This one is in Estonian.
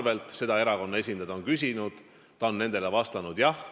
Neid asju on erakonna esindajad küsinud ja ta on vastanud: jah.